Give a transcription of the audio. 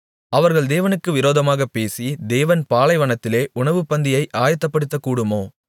அவர்கள் தேவனுக்கு விரோதமாகப் பேசி தேவன் பாலைவனத்திலே உணவுப்பந்தியை ஆயத்தப்படுத்தக்கூடுமோ